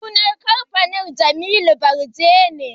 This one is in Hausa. Sunan kamfanin, Julius Berger ne